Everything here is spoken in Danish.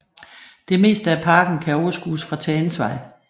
Det meste af parken kan overskues fra Tagensvej